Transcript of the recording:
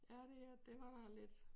Ja det er det var da lidt